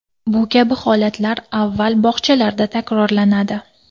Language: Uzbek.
Bu kabi holatlar avval bog‘chalarda takrorlanadi.